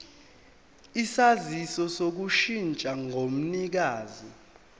isaziso sokushintsha komnikazi